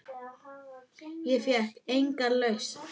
Ég fékk enga lausn.